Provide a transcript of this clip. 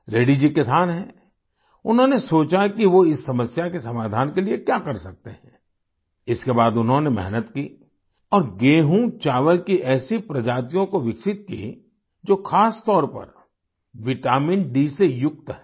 रेड्डी जी किसान हैं उन्होंने सोचा कि वो इस समस्या के समाधान के लिए क्या कर सकते हैं इसके बाद उन्होंने मेहनत की और गेहूं चावल की ऐसी प्रजातियों को विकसित की जो खासतौर पर विटामिनडी से युक्त हैं